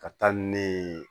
Ka taa ni ne ye